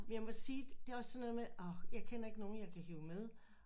Men jeg må sige det er også sådan noget med åh jeg kender ikke nogen jeg kan hive med